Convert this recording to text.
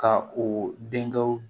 Ka o denkɛw